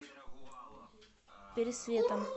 пересветом